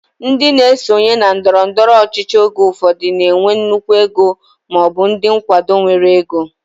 Ndị na-esonye na ndọrọndọrọ ọchịchị oge ụfọdụ na-enwe nnukwu ego maọbụ ndị nkwado nwere ego